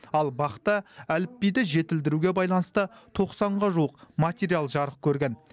ал бақ та әліпбиді жетілдіруге байланысты тоқсанға жуық материал жарық көрген